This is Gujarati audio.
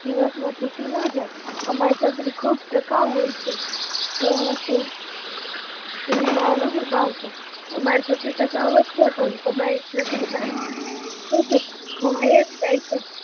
દિવસ માં તૂટી ના જાય, અમારી છત્રી એમ ખુબ ટકાઉ હોય છે, એમ સાહેબ હું ના નથી પડતો તમારી છત્રી તઃકાઉ જ છે પણ છત્રી ખોબાય જ જાય છે